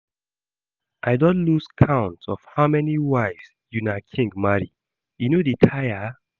I don lose count of how many wives una king marry, e no dey tire?